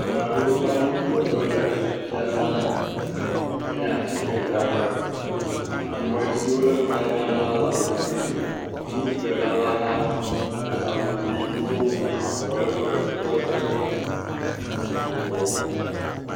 Ame etɔ̃ le tsitre ɖe xɔ sia me. Woɖo atikewo ɖe agba ka agba kawo me le xɔa me. Ŋutsu ɖeka va tɔ ɖe atike dzrala la gbɔ be yeaƒle atike.